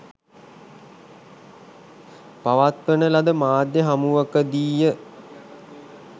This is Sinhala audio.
පවත්වන ලද මාධ්‍ය හමුවකදීය.